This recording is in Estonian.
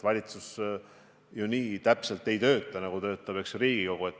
Valitsus ei tööta ju täpselt nii, nagu töötab Riigikogu.